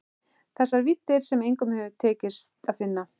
Þessar víddir sem engum hafði tekist að finna.